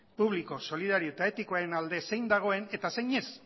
publiko solidario eta etikoaren alde zein dagoen eta zein ez